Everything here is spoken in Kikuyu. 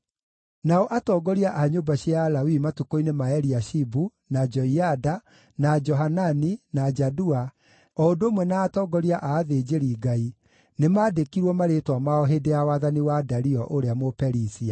Nao atongoria a nyũmba cia Alawii matukũ-inĩ ma Eliashibu, na Joiada, na Johanani, na Jadua, o ũndũ ũmwe na atongoria a athinjĩri-Ngai, nĩmandĩkirwo marĩĩtwa mao hĩndĩ ya wathani wa Dario ũrĩa Mũperisia.